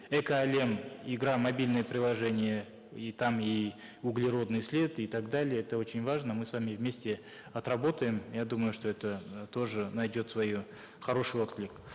эко әлем игра мобильное приложение и там и углеродный след и так далее это очень важно мы с вами вместе отработаем я думаю что это э тоже найдет хороший отклик